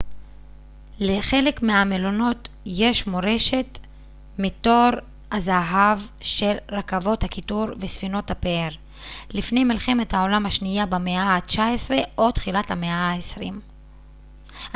לחלק מהמלונות יש מורשת מתור הזהב של רכבות הקיטור וספינות הפאר לפני מלחמת העולם השנייה במאה ה-19 או תחילת המאה ה-20